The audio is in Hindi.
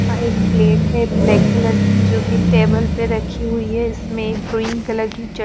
आ एक प्लेट है ब्लैक कलर की जोकि टेबल पे रखी हुई है इसमें ग्रीन कलर की च --